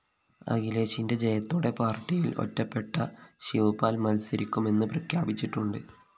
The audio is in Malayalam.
അഖിലേഷിന്റെ ജയത്തോടെ പാര്‍ട്ടിയില്‍ ഒറ്റപ്പെട്ട ശിവ്പാല്‍ മത്സരിക്കുമെന്ന് പ്രഖ്യാപിച്ചിട്ടുണ്ട്